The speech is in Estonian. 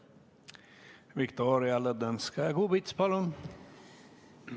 Viktoria Ladõnskaja-Kubits, palun!